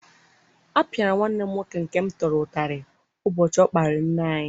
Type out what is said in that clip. A pịara nwanne m nwoke nke m tọrọ utarị ubochi o kparịrị nne anyị